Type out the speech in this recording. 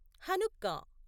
Hanukkah